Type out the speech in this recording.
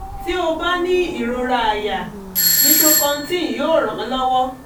tí ó bá ní ìrora àyà nitrocontin yóò ràn án lọ́wọ́